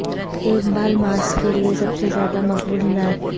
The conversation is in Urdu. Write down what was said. ایک بال ماسک کے لئے سب سے زیادہ مقبول ہدایت